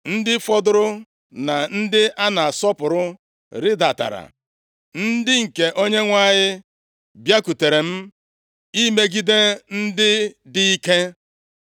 “Ndị fọdụrụ na ndị a na-asọpụrụ rịdatara, ndị nke Onyenwe anyị bịakwutere m imegide ndị dị ike.